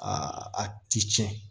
Aa a ti tiɲɛ